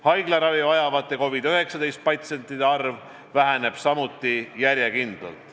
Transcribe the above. Haiglaravi vajavate COVID-19 patsientide arv väheneb samuti järjekindlalt.